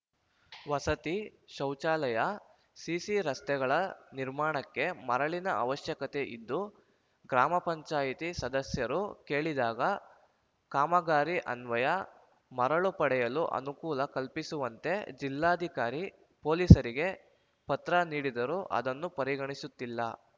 ವಸತಿ ಶೌಚಾಲಯ ಸಿಸಿ ರಸ್ತೆಗಳ ನಿರ್ಮಾಣಕ್ಕೆ ಮರಳಿನ ಅವಶ್ಯಕತೆ ಇದ್ದು ಗ್ರಾಮ ಪಂಚಾಯತಿ ಸದಸ್ಯರು ಕೇಳಿದಾಗ ಕಾಮಗಾರಿ ಅನ್ವಯ ಮರಳು ಪಡೆಯಲು ಅನುಕೂಲ ಕಲ್ಪಿಸುವಂತೆ ಜಿಲ್ಲಾಧಿಕಾರಿ ಪೋಲೀಸರಿಗೆ ಪತ್ರ ನೀಡಿದರೂ ಅದನ್ನು ಪರಿಗಣಿಸುತ್ತಿಲ್ಲ